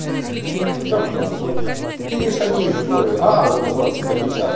ну кирюша не историю а вот он что то печатает